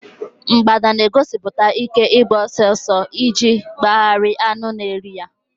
mgbada na-egosipụta ike ịgba ọsọ ọsọ ọsọ iji gbanarị anụ na eri ha.